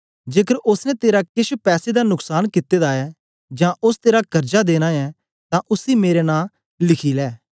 जेकर ओसने तेरा केछ पैसे दा नुक्सान कित्ते दा ऐ जां ओस तेरा कर्जा देनां ऐ तां उसी मेरे नां लिखी लै